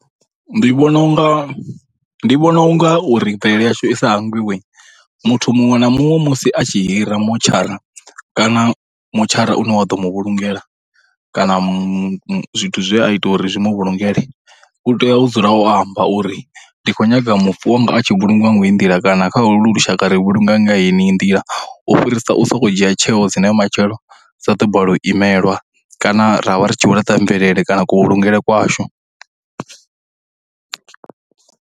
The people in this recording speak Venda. Ndi vhona unga, ndi vhona u nga uri mvelele yashu i sa hangwiwe muthu muṅwe na muṅwe musi a tshi hira motshara kana motshara une wa ḓo mu vhulungela kana zwithu zwe a ita uri zwi mavhulungele u tea u dzula o amba uri ndi khou nyaga mufu wanga a tshi vhulungiwa nga heyi nḓila, kana kha holu lushaka ri vhulunga nga heneyi nḓila. U fhirisa u sokou dzhia tsheo dzine matshelo dza ḓo balelwa u imelwa kana ra vha ri tshi vho laṱa mvelele kana kuvhulungele kwashu.